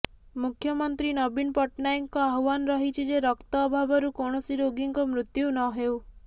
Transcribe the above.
ମୁଖ୍ୟମନ୍ତ୍ରୀ ନବୀନ ପଟ୍ଟନାୟକଙ୍କ ଆହ୍ବାନ ରହିଛି ଯେ ରକ୍ତ ଅଭାବରୁ କୈାଣସି ରୋଗୀଙ୍କ ମୃତ୍ୟୁ ନହେଉ